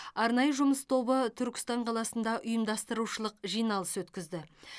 арнайы жұмыс тобы түркістан қаласында ұйымдастырушылық жиналыс өткізді